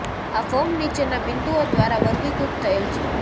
આ ફોર્મ નીચેના બિંદુઓ દ્વારા વર્ગીકૃત થયેલ છે